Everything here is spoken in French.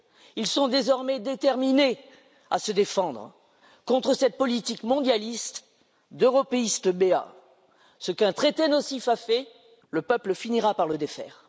Ils sont désormais déterminés à se défendre contre cette politique mondialiste d'européistes béats ce qu'un traité nocif a fait, le peuple finira par le défaire.